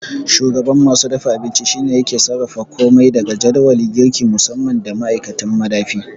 Shugaban masu dafa abinci shine yake sarrafa komai daga jadawali, girki musamman da ma'aikatan madafi.